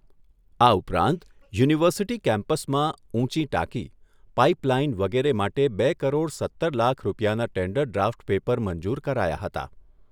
આ ઉપરાંત યુનિવર્સિટી કેમ્પસમાં ઊંચી ટાંકી, પાઇપલાઇન વગેરે માટે બે કરોડ સત્તર લાખ રૂપિયાના ટેન્ડર ડ્રાફ્ટ પેપર મંજુર કરાયા હતા.